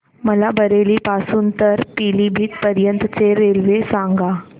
मला बरेली पासून तर पीलीभीत पर्यंत ची रेल्वे सांगा